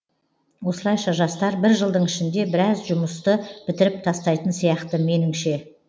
осылайша жастар бір жылдың ішінде біраз жұмысты бітіріп тастайтын сияқты меніңше